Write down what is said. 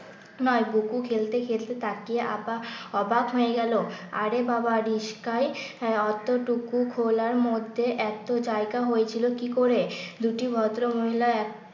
নয়। বুকু খেলতে খেলতে তাকিয়ে আবা অবাক হয়ে গেল আরে বাবা রিসকায় অতটুকু খোলার মধ্যে এত জায়গা হয়েছিল কি করে? দুটি ভদ্রমহিলা এক